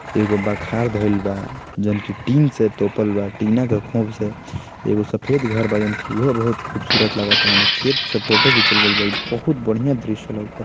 एगो बखार धइल बा जोन की टिन से तोपल बा टिना के खोप से एगो सफ़ेद घर बा जोन की उहो बहुत खूबसूरत लगता। एने खेत से फोटो घिचल गइल बा। ई बहुत बढ़िया दृश्य लउकता--